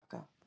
Þönglabakka